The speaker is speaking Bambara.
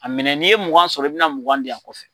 A minɛ n'i ye mugan sɔrɔ i bɛna mugan diyan kɔfɛ.